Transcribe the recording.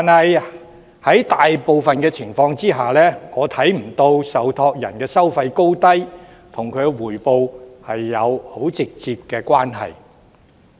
然而，在大部分情況下，我看不到受託人收費的高低，與強積金回報有很直接的關係。